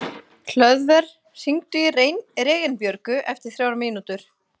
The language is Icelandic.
Hlöðver, hringdu í Reginbjörgu eftir þrjár mínútur.